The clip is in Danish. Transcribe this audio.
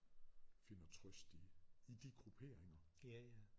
Finder trøst i i de grupperinger